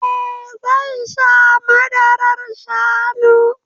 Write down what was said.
Eh zan sha madarar shanu